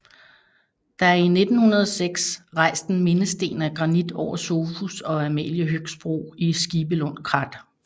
Der er 1906 rejst en mindesten af granit over Sofus og Amalie Høgsbro i Skibelund Krat